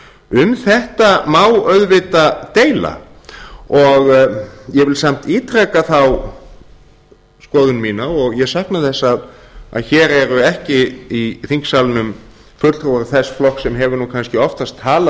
um þetta má auðvitað deila og ég vil samt ítreka þá skoðun mína og ég sakna þess að hér eru ekki í þingsalnum fulltrúar þess flokks sem hefur kannski oftast talað